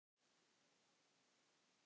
Hver á tunglið?